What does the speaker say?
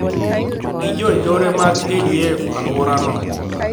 Gi jo njore mag ADF alworano